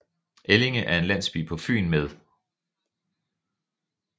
Ellinge er en landsby på Fyn med